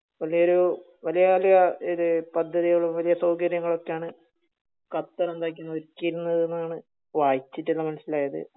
വലിയൊരു വലിയ വലിയ ഒരു പദ്ധതികളും വലിയ സൗകര്യങ്ങളും ഒക്കെ ആണ് ഖത്തർ എന്തകീർനെ വെച്ചിരുന്നത് എന്നാണ് വായിച്ചിട്ടെല്ലാം മന്സിലായത്